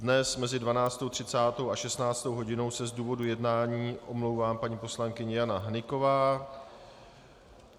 Dnes mezi 12.30 a 16. hodinou se z důvodu jednání omlouvá paní poslankyně Jana Hnyková.